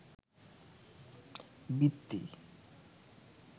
বৃত্তি